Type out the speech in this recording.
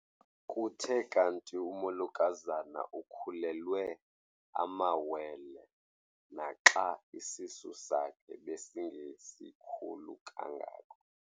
Kuthe kanti umolokazana ukhulelwe amawele naxa isisu sakhe besingesikhulu kangako.